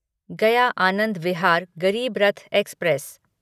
गया आनंद विहार गरीब रथ एक्सप्रेस